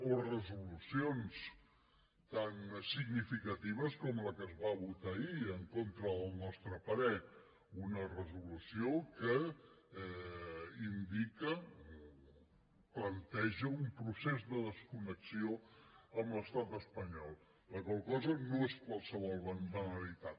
o resolucions tan significatives com la que es va votar ahir en contra del nostre parer una resolució que indica planteja un procés de desconnexió amb l’estat espanyol la qual cosa no és qualsevol banalitat